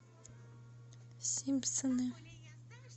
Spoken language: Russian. симпсоны